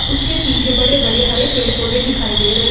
उसके पीछे बड़े बड़े हरे पेड़ पौधे दिखाई दे रहे हैं।